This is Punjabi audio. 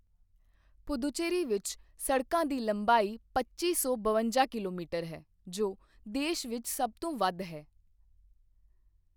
ਪੁਦੂਚੇਰੀ ਵਿੱਚ ਸੜਕਾਂ ਦੀ ਲੰਬਾਈ ਪੱਚੀ ਸੌ ਬਵੰਜਾ ਕਿਲੋਮੀਟਰ ਹੈ, ਜੋ ਦੇਸ਼ ਵਿੱਚ ਸਭ ਤੋਂ ਵੱਧ ਹੈ।